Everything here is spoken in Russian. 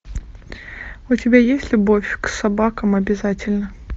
у тебя есть любовь к собакам обязательна